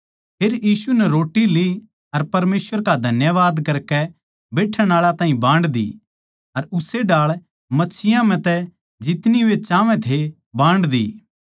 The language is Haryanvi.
फेर यीशु नै रोट्टी ली अर परमेसवर का धन्यवाद करकै बैठण आळा ताहीं बान्ड दीः अर उस्से ढाळ मच्छियाँ म्ह तै जितनी वे चाहवै थे बान्ड दी